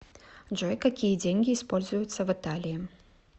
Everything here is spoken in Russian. джой какие деньги используются в италии